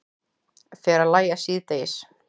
Fer að lægja síðdegis